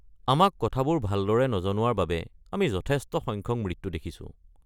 আমাক কথাবোৰ ভালদৰে নজনোৱাৰ বাবে আমি যথেষ্ট সংখ্যক মৃত্যু দেখিছো।